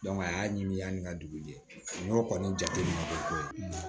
a y'a ɲimi ani ka dugu jɛ n'o kɔni jate minɛ bɛ koyi